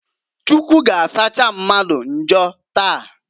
Chukwu g'asacha mmadụ njọ taa.